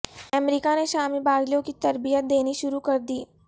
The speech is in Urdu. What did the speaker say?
امریکہ نے شامی باغیوں کی تربیت دینی شروع کر دی